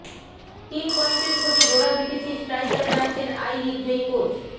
তিন পয়েন্টের খোঁজে জোড়া বিদেশি স্ট্রাইকারে যাচ্ছেন আই লিগজয়ী কোচ